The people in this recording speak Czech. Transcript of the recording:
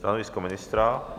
Stanovisko ministra?